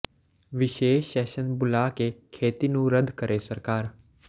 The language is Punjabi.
ਵਿਸ਼ੇਸ਼ ਸ਼ੈਸ਼ਨ ਬੁਲਾ ਕੇ ਖੇਤੀ ਨੂੰ ਰੱਦ ਕਰੇ ਸਰਕਾਰ